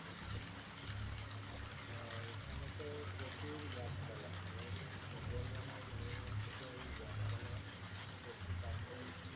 ওখানে তো প্রচুর গাছপালা main সুন্দরবন এর main হচ্ছে তো ওই গাছপালা পশু পাখি